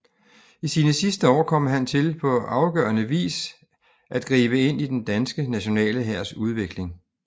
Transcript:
I sine sidste år kom han til på afgørende vis at gribe ind i den danske nationale hærs udvikling